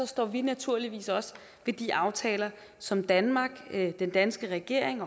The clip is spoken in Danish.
står vi naturligvis også ved de aftaler som danmark den danske regering